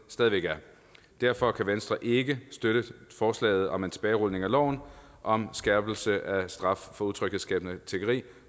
er derfor kan venstre ikke støtte forslaget om en tilbagerulning af loven om skærpelse af straffen for utryghedsskabende tiggeri